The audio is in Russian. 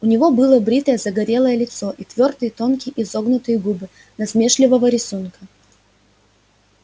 у него было бритое загорелое лицо и твёрдые тонкие изогнутые губы насмешливого рисунка